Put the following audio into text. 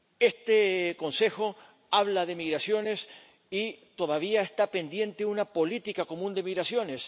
Este Consejo habla de migraciones y todavía está pendiente una política común de migraciones.